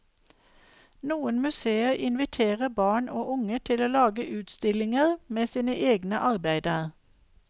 Noen museer inviterer barn og unge til å lage utstillinger med sine egne arbeider.